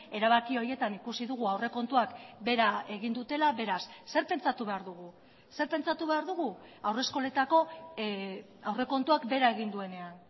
erabaki horietan ikusi dugu aurrekontuak behera egin dutela beraz zer pentsatu behar dugu zer pentsatu behar dugu haurreskoletako aurrekontuak behera egin duenean